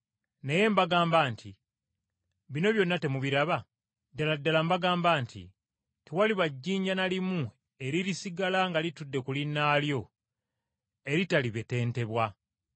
naye n’abagamba nti, “Bino byonna temubiraba? Ddala ddala mbagamba nti tewaliba jjinja na limu eririsigala nga litudde ku linnaalyo eritalibetentebwa.”